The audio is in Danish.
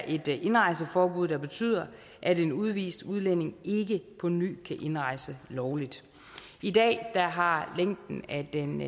et indrejseforbud der betyder at en udvist udlænding ikke på ny kan indrejse lovligt i dag har længden af den